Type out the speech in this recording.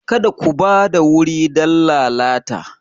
Kada ku ba da wuri don lalata!